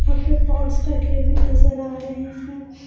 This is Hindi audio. यहाँ पे पॉट्स रखे हुए नजर आ रहे हैं।